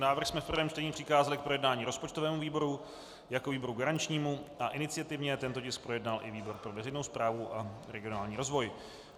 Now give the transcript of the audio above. Návrh jsme v prvém čtení přikázali k projednání rozpočtovému výboru jako výboru garančnímu a iniciativně tento tisk projednal i výbor pro veřejnou správu a regionální rozvoj.